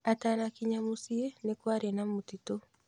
Atanakinya mũciĩ, nĩ kwarĩ na mũtitũ.